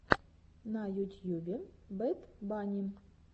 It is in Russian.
на ютьюбе бэд банни